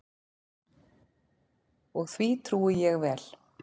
Og því trúi ég vel.